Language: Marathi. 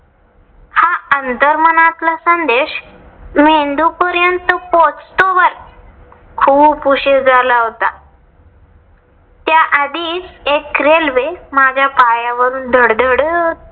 हा अंर्तमनातला संदेश पोचतोवर खूप उशीर झाला होता. त्या आधीच एक रेल्वे माझ्या पायावरून धडधडत